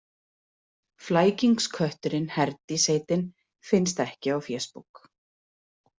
Flækingskötturinn Herdís heitin finnst ekki á fésbók.